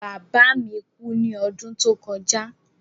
Bàbá mi kú ní odún tó kojá